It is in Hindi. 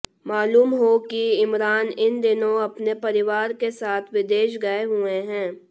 मालूम हो कि इमरान इन दिनों अपने परिवार के साथ विदेश गये हुए हैं